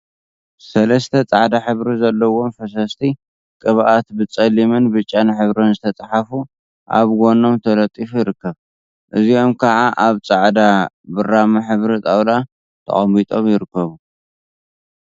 ሰለስተ ጻዕዳ ሕብሪ ዘለዎም ፈሰስቲ ቅብኣት ብጸሊምን ብጫን ሕብሪ ዝተጸሓፉ ኣብ ጎኖም ተለጢፉ ይርከብ። እዚኦም ከዓ ኣብ ጻዕዳ ብራማ ሕብሪ ጣውላ ተቀሚጦም ይርከቡ።